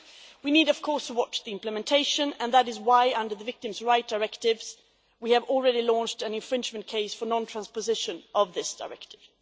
We need to keep an eye on implementation, and that is why, under the Victims' Rights Directive, we have already launched an infringement case for non transposition of this Directive.